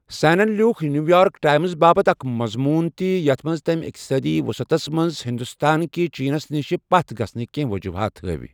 سینن لیوُكھ New York Times باپتھ اكھ مضمون تہِ یتھ منز تمہِ اِقتصٲدی وُصعتس منز ہِندوستان كہِ چینس نِشہِ پتھ گژھنٕكہِ وجوُحات ہٲوِ ۔